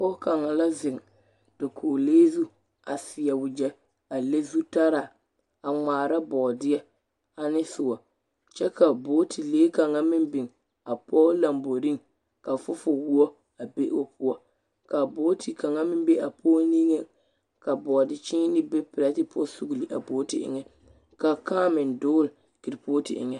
pɔge kaŋa la zeŋ dakogile zu a seɛ wagyɛ, a le zutaraa, a ŋmaara bɔɔdeɛ ane soɔ. kyɛ ka booti lee kaŋ meŋ biŋ a pɔge lamboriŋ ka fofowoɔ a be o poɔ. Ka booti kaŋa meŋ be apɔge niŋeŋ ka bɔɔde kyẽẽnee be pɛrete poɔ sugili a booti eŋɛ. Ka kãã meŋ dogele kerepooti eŋɛ